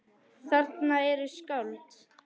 Þarna eru skáld.